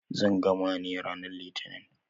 Zan gama ne ranar litinin.